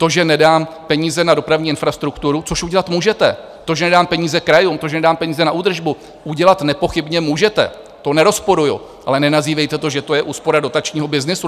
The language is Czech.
To, že nedám peníze na dopravní infrastrukturu, což udělat můžete, to, že nedám peníze krajům, to, že nedám peníze na údržbu, udělat nepochybně můžete, to nerozporuju, ale nenazývejte to, že to je úspora dotačního byznysu.